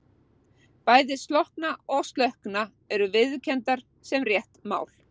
Bæði slokkna og slökkna eru viðurkenndar sem rétt mál.